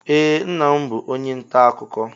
Ee nna m bụ onye nta akụkọ